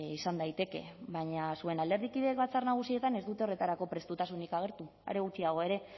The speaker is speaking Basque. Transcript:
izan daiteke baina zuen alderdikideek batzar nagusietan ez dute horretarako prestutasunik agertu are gutxiago ere